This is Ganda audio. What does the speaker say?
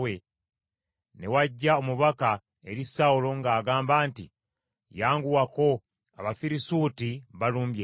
ne wajja omubaka eri Sawulo ng’agamba nti, “Yanguwako! Abafirisuuti balumbye ensi.”